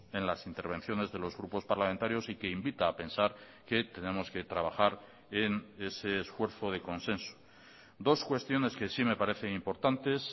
en las intervenciones de los grupos parlamentarios y que invita a pensar que tenemos que trabajar en ese esfuerzo de consenso dos cuestiones que sí me parecen importantes